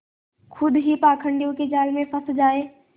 खुद ही पाखंडियों के जाल में फँस जाए